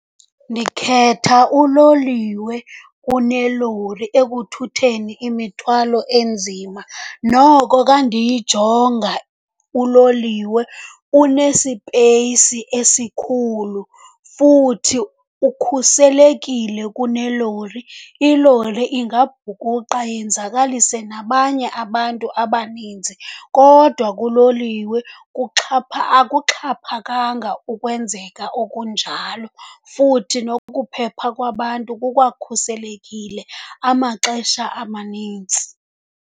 Ndikhetha uloliwe kunelori ekuthutheni imithwalo enzima. Noko ka ndiyijonga uloliwe unesipeyisi esikhulu futhi ukhuselekile kunelori. Ilori ingabhukuqa yenzakalise nabanye abantu abaninzi kodwa kuloliwe akuxhaphakanga ukwenzeka okunjalo, futhi nokuphepha kwabantu kukwakhuselekile amaxesha amanintsi.